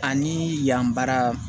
Ani yan bara